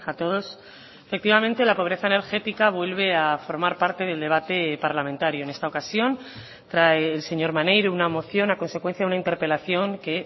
todos efectivamente la pobreza energética vuelve a formar parte del debate parlamentario en esta ocasión trae el señor maneiro una moción a consecuencia de una interpelación que